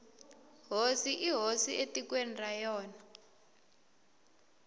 hosi i hosi etikweni ra yona